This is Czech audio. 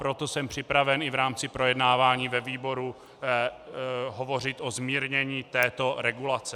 Proto jsem připraven i v rámci projednávání ve výboru hovořit o zmírnění této regulace.